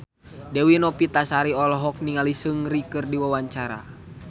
Dewi Novitasari olohok ningali Seungri keur diwawancara